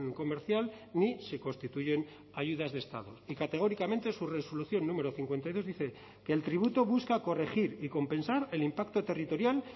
comercial ni se constituyen ayudas de estado y categóricamente su resolución número cincuenta y dos dice que el tributo busca corregir y compensar el impacto territorial